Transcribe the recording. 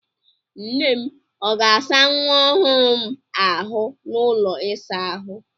Nnem ọ ga-asa nwa ọhụrụ m a ahụ n'ụlọ ịsa ahụ?